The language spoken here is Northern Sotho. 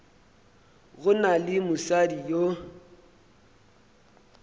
go na le mosadi yo